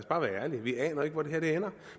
bare være ærlige vi aner ikke hvor det her ender